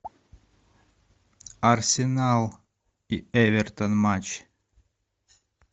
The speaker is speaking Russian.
арсенал и эвертон матч